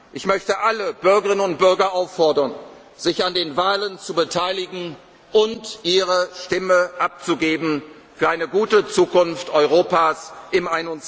ist. Ich möchte alle Bürgerinnen und Bürger auffordern, sich an den Wahlen zu beteiligen und ihre Stimme für eine gute Zukunft Europas